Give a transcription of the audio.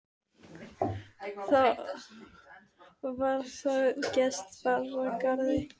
Þá var það að gest bar að garði.